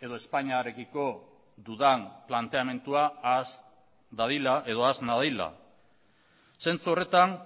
edo espainiarekiko dudan planteamendua ahaz dadila edo ahaz nadila zentzu horretan